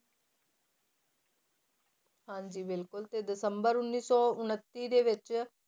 ਹਾਂਜੀ ਬਿਲਕੁਲ ਤੇ ਦਸੰਬਰ ਉੱਨੀ ਸੌ ਉਣੱਤੀ ਦੇ ਵਿੱਚ,